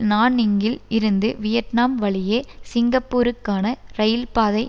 நான்னிங்கில் இருந்து வியட்நாம் வழியே சிங்கப்பூருக்கான இரயில்பாதை